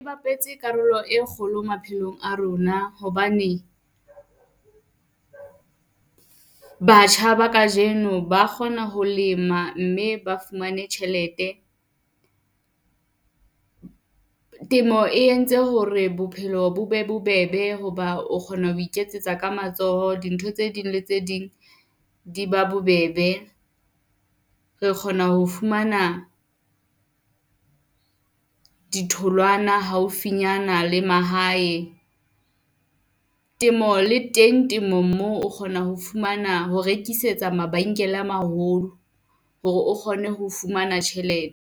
E bapetse karolo e kgolo maphelong a rona hobane, batjha ba kajeno ba kgona ho lema mme ba fumane tjhelete. Temo e entse hore bophelo bo be bobebe hoba o kgona ho iketsetsa ka matsoho, dintho tse ding le tse ding di ba bobebe. Re kgona ho fumana ditholwana haufinyana le mahae, temo le teng temong moo o kgona ho fumana ho rekisetsa mabenkele a maholo, hore o kgone ho fumana tjhelete.